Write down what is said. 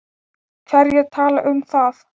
Hverjir tala um það?